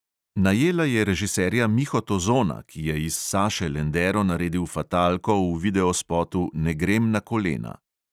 Najela je režiserja miho tozona, ki je iz saše lendero naredil fatalko v videospotu ne grem na kolena.